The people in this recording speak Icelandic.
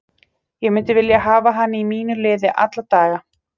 Ég myndi vilja hafa hann í mínu liði alla daga.